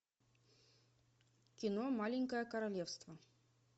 кино маленькое королевство